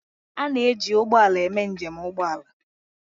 A na-eji ụgbọ ala eme njem ụgbọ ala